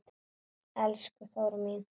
Elsku Þóra mín.